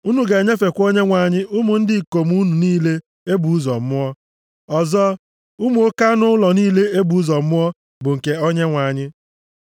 unu ga-enyefe Onyenwe anyị ụmụ ndị ikom unu niile e bụ ụzọ mụọ. Ọzọ, ụmụ oke anụ ụlọ niile e bụ ụzọ mụọ bụ nke Onyenwe anyị.